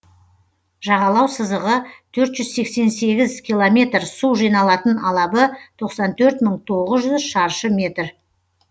жағалау сызығы төрт жүз сексен сегіз километр су жиналатын алабы тоқсан төрт м ың тоғыз жүз шаршы километр